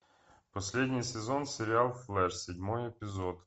последний сезон сериал флэш седьмой эпизод